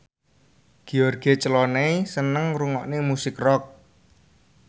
George Clooney seneng ngrungokne musik rock